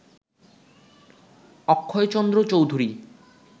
Akshaychandra Chowdhury